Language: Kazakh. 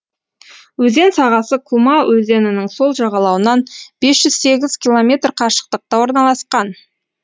өзен сағасы кума өзенінің сол жағалауынан бес жүз сегіз километр қашықтықта орналасқан